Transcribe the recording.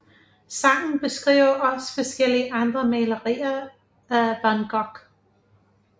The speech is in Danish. Sangen beskriver også forskellige andre malerier af von Gogh